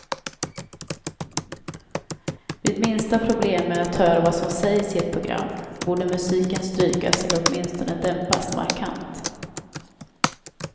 Vid minsta problem med att höra vad som sägs i ett program, borde musiken strykas eller åtminstone dämpas markant.